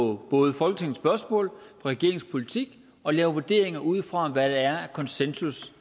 på både folketingets spørgsmål og regeringens politik og laver vurderinger ud fra hvad der er af konsensus